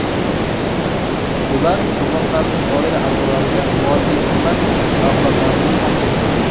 Ular qurbonlarning oila a’zolariga moddiy ko‘mak mablag‘larini topshirdi.